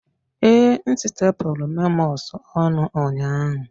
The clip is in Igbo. Ee, m stepulu memos ọnụ ụnyaahụ